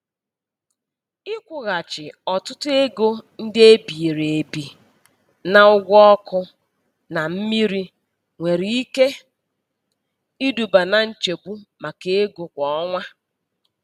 Ịkwụghachi ọtụtụ ego ndị e biri ebi na ụgwọ ọkụ na mmiri nwere ike iduba na nchegbu maka ego kwa ọnwa.